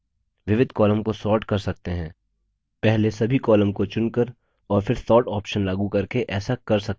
विविध columns को sort कर सकते है पहले सभी columns को चुनकर और फिर sort options लागू करके ऐसा कर सकते हैं